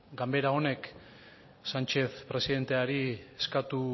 ganbara honek sánchez presidenteari eskatu